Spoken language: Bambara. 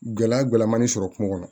Gɛlɛya gɔlɔmani sɔrɔ kungo kɔnɔ